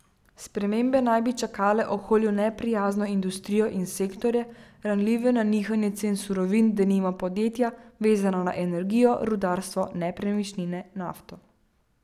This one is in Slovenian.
Spremembe naj bi čakale okolju neprijazno industrijo in sektorje, ranljive na nihanje cen surovin, denimo podjetja, vezana na energijo, rudarstvo, nepremičnine, nafto.